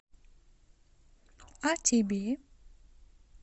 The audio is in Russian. а тебе